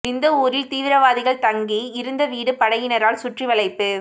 நிந்தவூரில் தீவிரவாதிகள் தங்கி இருந்த வீடு படையினரால் சுற்றி வளைப்பு